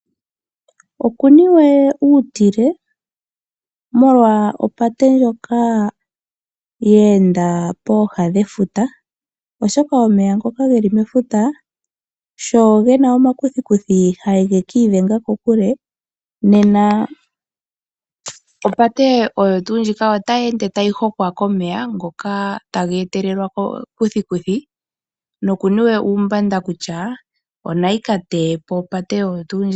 Okuniwe uutilwe molwa opate ndjoka ye enda poha dhefuta, oshoka omeya ngoka geli mefuta sho gena omakuthikuthi ha geki idhenga kokule. Nena opate oyotu ndjoka otayi ende tayi hokwa komeya ngoka taga etelelwa komakuthikuthi noku niwe uumbanda kutya onaga kateyepo opate oyo tu ndjoka.